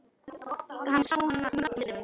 Hann sá hana mörgum sinnum.